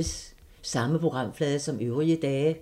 Samme programflade som øvrige dage